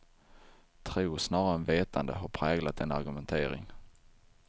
Tro snarare än vetande har präglat denna argumentering.